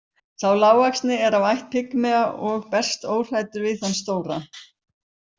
Sá lágvaxni er af ætt pigmea og berst óhræddur við þann stóra.